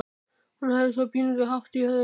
Hafði svo pínulítinn hatt á höfðinu.